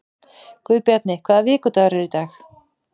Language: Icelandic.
Guðbjarni, hvaða vikudagur er í dag?